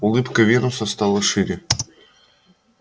улыбка венуса стала шире